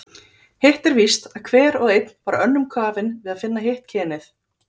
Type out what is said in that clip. Hitt er víst, að hver og einn var önnum kafinn við að finna hitt kynið.